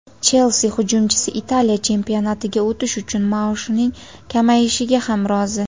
"Chelsi" hujumchisi Italiya chempionatiga o‘tish uchun maoshining kamayishiga ham rozi;.